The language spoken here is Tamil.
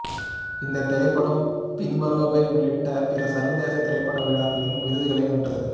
இந்தத் திரைப்படம் பின்வருபவை உள்ளிட்ட பிற சர்வதேச திரைப்பட விழாக்களிலும் விருதுகளை வென்றது